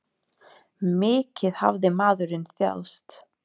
Mikið hafði maðurinn þjáðst.